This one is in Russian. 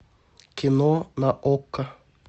кино на окко